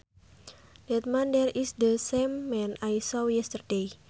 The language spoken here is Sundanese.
That man there is the same man I saw yesterday